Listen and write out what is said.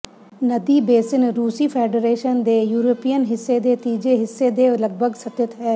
ਨਦੀ ਬੇਸਿਨ ਰੂਸੀ ਫੈਡਰਸ਼ਨ ਦੇ ਯੂਰਪੀਅਨ ਹਿੱਸੇ ਦੇ ਤੀਜੇ ਹਿੱਸੇ ਦੇ ਲਗਭਗ ਸਥਿਤ ਹੈ